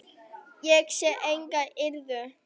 Ég sé enga iðrun.